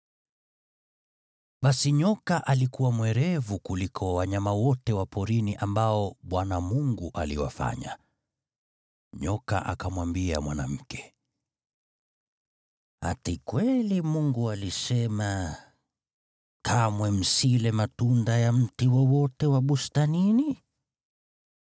Basi nyoka alikuwa mwerevu kuliko wanyama wote wa porini ambao Bwana Mungu aliwafanya. Nyoka akamwambia mwanamke, “Ati kweli Mungu alisema, ‘Kamwe msile matunda ya mti wowote wa bustanini’?”